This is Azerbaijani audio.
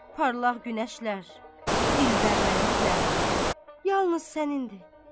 Parlaq günəşlər, dilbər mələklər, yalnız sənindir.